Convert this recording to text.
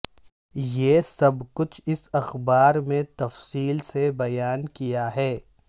یہ سب کچھ اس اخبار میں تفصیل سے بیان کیا ہے